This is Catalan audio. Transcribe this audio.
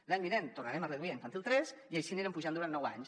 l’any vinent tornarem a reduir a infantil tres i així anirem pujant durant nou anys